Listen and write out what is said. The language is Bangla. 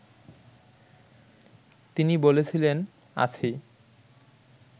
তিনি বলেছিলেন, আছি